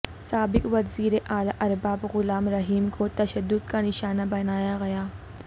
سابق وزیر اعلی ارباب غلام رحیم کو تشدد کا نشانہ بنایا گیا